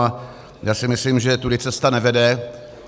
A já si myslím, že tudy cesta nevede.